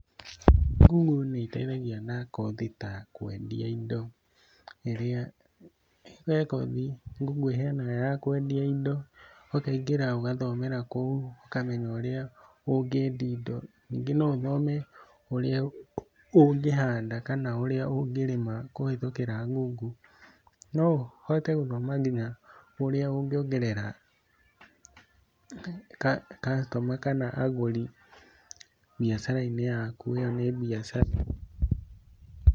Google nĩ ĩteithagia na kothi ta kũendia indo ĩrĩa- he kothi Google ĩheanaga ya kũendia indo. Ũkaingĩra ũgathomera kũu ũkamenya ũrĩa ũngĩendia indo. Ningĩ no ũthome ũrĩa ũngĩhanda kana ũrĩa ũngĩrĩma kũhĩtũkĩra Google. No ũhote gũthoma nginya ũrĩa ũngĩongerera customer kana agũri mbiacara-inĩ yaku, ĩyo nĩ mbiacara.